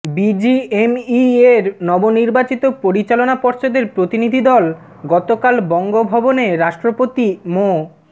বিজিএমইএর নবনির্বাচিত পরিচালনা পর্ষদের প্রতিনিধিদল গতকাল বঙ্গভবনে রাষ্ট্রপতি মো